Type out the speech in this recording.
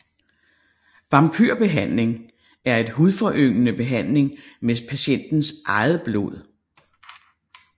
Vampyr behandling er en hudforyngende behandling med patientens eget blod